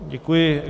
Děkuji.